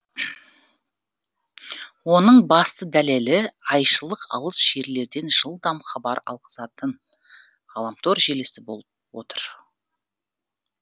оның басты дәлелі айшылық алыс жерлерден жылдам хабар алғызатын ғаламтор желісі болып отыр